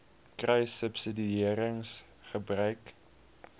kruissubsidiëringgebruik